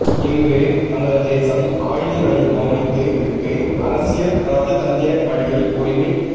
இன்று நமது தேசம் ஆயதங்களை மௌனித்து விட்டு அரசியல் இராஜதந்திர வழியில் உரிமைப்